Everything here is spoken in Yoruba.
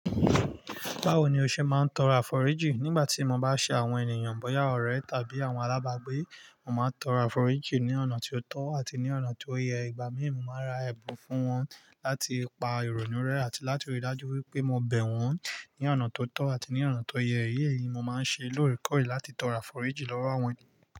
Báwo ni o ṣe máa ń tọrọ àforíjì nígbà tí mo bá ṣe àwọn ènìyàn bóyá ọ̀rẹ́ tàbí àwọn alábàágbé? Mo máa ń tọrọ àforíjì ní ọ̀nà tí ó tọ́ àti ní ọ̀nà tí ó yẹ. Ìgbà míì mo máa ń ra ẹ̀bùn fún wọn láti pa ìrònú rẹ́ àti láti rí i dájú wípé mo bẹ̀ wón ní ọ̀nà tó tọ́ àti ní ọ̀nà tó yẹ. Eyé yìí, mo máa ń ṣe lóòrèkọ̀ọ̀rè láti tọrọ àforíjì lọ́wọ́ àwọn ènìyàn.